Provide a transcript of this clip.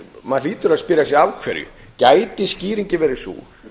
maður hlýtur að spyrja sig af hverju gæti skýringin verið sú